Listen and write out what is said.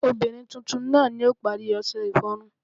obirin titun naa ni o pari ọṣẹ iforun